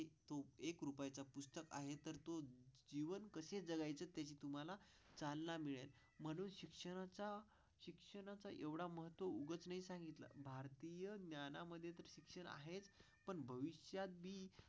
चं आहे तर तू जीवन कसे जगायचे त्याची तुम्हाला चालना मिळेल म्हणून शिक्षणाचा, शिक्षणाचा एवढा मत उघडपणे सांगितले. भारतीय ज्ञानामध्ये शिक्षण आहे पण भविष्यात.